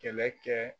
Kɛlɛ kɛ